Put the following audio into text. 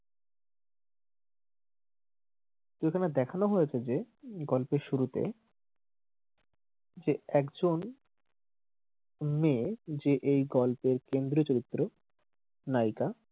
এখানে দেখানো হয়েছে যে গল্পের শুরুতে যে একজন মেয়ে যে এই গল্পের কেন্দ্রীয় চরিত্র নায়িকা,